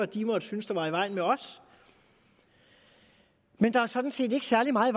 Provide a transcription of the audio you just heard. de måtte synes var i vejen med os men der er sådan set ikke særlig meget